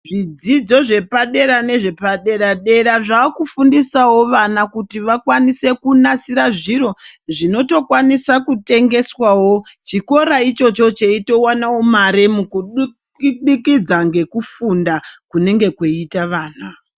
Zvidzidzo zvepadera nezvepadera dera zvakufundisawo vana kuti vakwanise kunasire zviro zvinotokwanisa kutengeswawo chikora ichocho cheito wanawo mare kubudikidza ngekufunda kunenge kweiita vana.